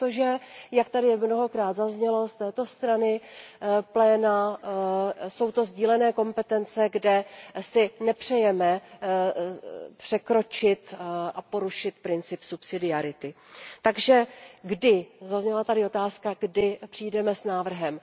Protože jak tady mnohokrát zaznělo z pléna, jsou to sdílené kompetence, kde si nepřejeme překročit a porušit princip subsidiarity. Takže kdy, zazněla tady otázka, kdy přijdeme s návrhem?